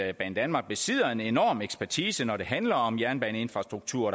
at banedanmark besidder en enorm ekspertise når det handler om jernbaneinfrastruktur